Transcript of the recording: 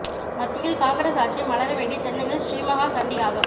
மத்தியில் காங்கிரஸ் ஆட்சி மலர வேண்டி சென்னையில் ஸ்ரீ மஹா சண்டி யாகம்